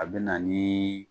A be na nii